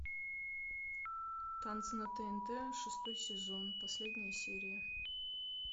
танцы на тнт шестой сезон последняя серия